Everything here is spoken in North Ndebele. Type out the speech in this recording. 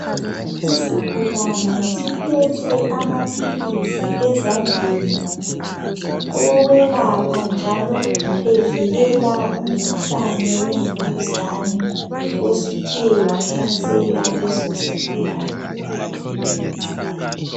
Isigulane siphethe amaphilisi ezandleni awokwelapha njalo evikela umkhuhlane wemvukuzane osuthe wahlasela leso sigulane.